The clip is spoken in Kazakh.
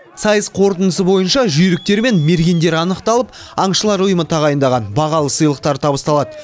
сайыс қорытындысы бойынша жүйріктер мен мергендер анықталып аңшылар ұйымы тағайындаған бағалы сыйлықтар табысталады